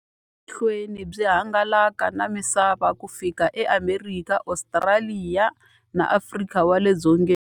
Byi yile emahlweni byi hangalaka na misava ku fika eAmerika, Ostraliya na Afrika wale dzongeni.